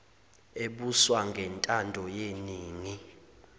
ebuswa ngentando yeningi